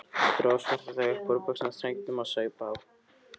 Dró Svartadauða upp úr buxnastrengnum og saup á.